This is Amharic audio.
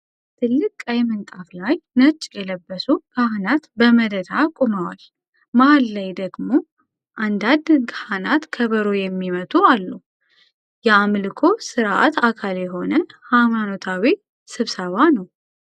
ትልቅ ቀይ ምንጣፍ ላይ፣ ነጭ የለበሱ ካህናት በመደዳ ቆመዋል። መሀል ላይ ደግሞ አንዳንድ ካህናት ከበሮ የሚመቱ አሉ። የአምልኮ ሥርዓት አካል የሆነ ሃይማኖታዊ ስብሰባ ነው።